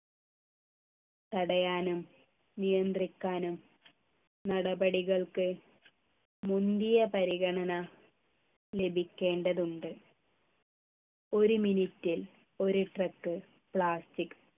തടയാനും നിയന്ത്രിക്കാനും നടപടികൾക്ക് മുന്തിയ പരിഗണന ലഭിക്കേണ്ടതുണ്ട് ഒരു minute ൽ ഒരു truck plastic